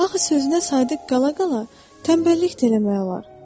Axı sözünə sadiq qala-qala tənbəllik də eləmək olar.